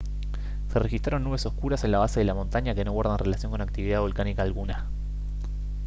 se registraron nubes oscuras en la base de la montaña que no guardan relación con actividad volcánica alguna